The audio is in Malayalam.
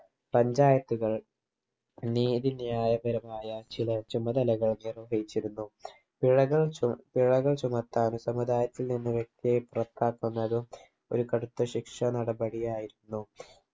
panchayat കൾ നീതി ന്യായകരമായ ചില ചുമതലകൾ നിർവഹിച്ചിരുന്നു പിഴകൾ ചു പിഴകൾ ചുമത്താനും സമുദായത്തിൽ നിന്ന് വ്യക്തിയെ പുറത്താക്കുന്നതും ഒരു കടുത്ത ശിക്ഷ നടപടിയായിരുന്നു